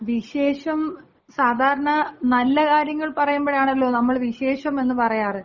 വിശേഷം, സാധാരണ നല്ല കാര്യങ്ങൾ പറയുമ്പോഴാണല്ലോ നമ്മള് വിശേഷം എന്ന് പറയാറ്.